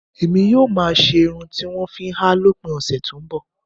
Èmi yóò máa ṣe irun tí wọ́n ń fi háà lópin ọ̀sẹ̀ tó ń bọ̀